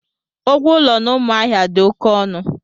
Ụgwọ ụlọ na Umuahia dị oké ọnụ.